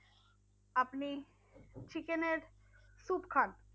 আপনি chicken এর stew খান?